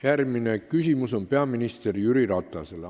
Järgmine küsimus on peaminister Jüri Ratasele.